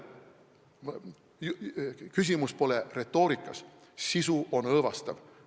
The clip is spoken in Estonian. Küsimus pole retoorikas, sisu on õõvastav.